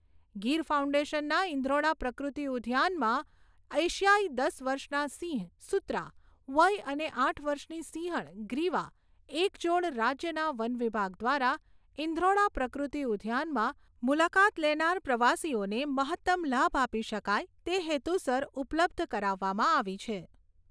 ગીર ફાઉન્ડેશનના ઇન્દ્રોડા પ્રકૃતિ ઉદ્યાનમાં એશિયાઈ દસ વર્ષના સિંહ સૂત્રા, વય અને આઠ વર્ષની સિંહણ ગ્રીવા એક જોડ રાજ્યના વન વિભાગ દ્વારા ઇન્દ્રોડા પ્રકૃતિ ઉદ્યાનમાં મુલાકાત લેનાર પ્રવાસીઓને મહત્તમ લાભ આપી શકાય તે હેતુસર ઉપલબ્ધ કરાવવામાં આવી છે.